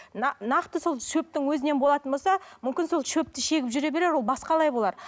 нақты сол шөптің өзінен болатын болса мүмкін сол шөпті шегіп жүре берер ол болар